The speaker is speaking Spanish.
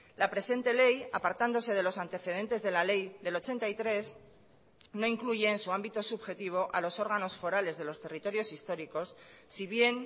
la presente ley apartándose de los antecedentes de la ley del ochenta y tres no incluye en su ámbito subjetivo a los órganos forales de los territorios históricos si bien